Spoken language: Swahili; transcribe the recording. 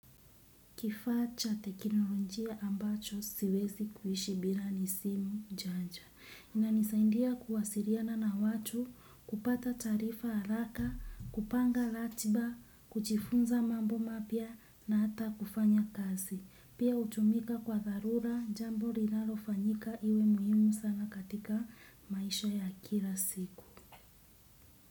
Kifacha teknolojia ambacho siwezi kuishi bila ni simu janja. Inanisaidia kuwasiliana na watu, kupata taarifa haraka, kupanga ratiba, kujifunza mambo mapya na hata kufanya kazi. Pia hutumika kwa dharura jambo linalo fanyika iwe muhimu sana katika maisha ya kila siku.